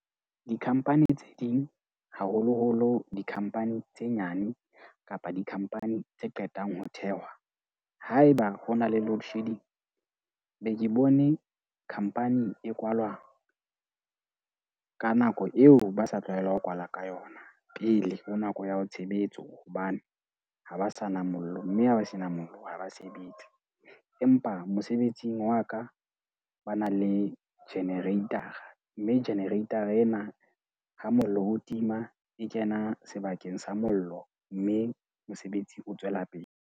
Di-company tse ding haholoholo di-company tse nyane kapa di-company tse qetang ho thehwa, haeba ho na le loadshedding. Be ke bone khampani e kwalwa ka nako eo ba sa tlwaelang ho kwala ka yona. Pele ho nako ya ho tshebetso. Hobane ha ba sa na mollo, mme ha ba sena mollo ha ba sebetse. Empa mosebetsing wa ka ba na le generator-a. Mme generator-a ena ha mollo o tima e kena sebakeng sa mollo, mme mosebetsi o tswela pele.